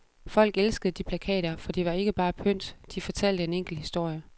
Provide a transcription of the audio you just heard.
Folk elskede de plakater, for de var ikke bare pynt, de fortalte en enkel historie.